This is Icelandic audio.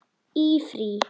Í frí.